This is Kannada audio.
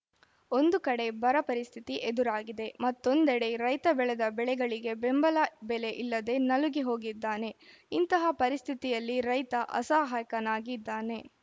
ಒಂದು ಕಡೆ ಬರ ಪರಿಸ್ಥಿತಿ ಎದುರಾಗಿದೆ ಮತ್ತೊಂದೆಡೆ ರೈತ ಬೆಳೆದ ಬೆಳೆಗಳಿಗೆ ಬೆಂಬಲ ಬೆಲೆ ಇಲ್ಲದೆ ನಲುಗಿ ಹೋಗಿದ್ದಾನೆ ಇಂತಹ ಪರಿಸ್ಥಿತಿಯಲ್ಲಿ ರೈತ ಅಸಹಾಯಕ ನಾಗಿದ್ದಾನೆ